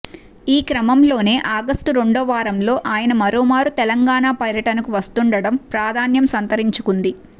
ఈక్రమంలోనే August రెండో వారంలో ఆయన మరోమారు తెలంగాణ పర్యటనకు వస్తుండటం ప్రాధాన్యం సంతరించుకుంది